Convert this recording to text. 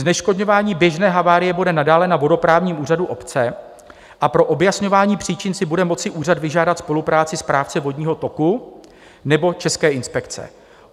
Zneškodňování běžné havárie bude nadále na vodoprávním úřadu obce a pro objasňování příčin si bude moci úřad vyžádat spolupráci správce vodního toku nebo České inspekce.